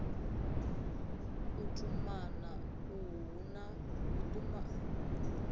u tumana uhu hu na